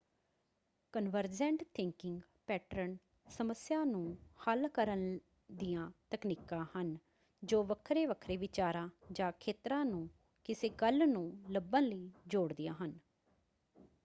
Convergent thinking pattern ਸਮੱਸਿਆ ਨੂੰ ਹੱਲ ਕਰਨ ਦੀਆਂ ਤਕਨੀਕਾਂ ਹਨ ਜੋ ਵੱਖਰੇ-ਵੱਖਰੇ ਵਿਚਾਰਾਂ ਜਾਂ ਖੇਤਰਾਂ ਨੂੰ ਕਿਸੇ ਗੱਲ ਨੂੰ ਲੱਭਣ ਲਈ ਜੋੜਦੀਆਂ ਹਨ।